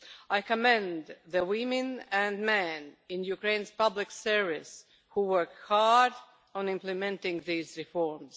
I commend the women and men in Ukraine's public service who work hard on implementing these reforms.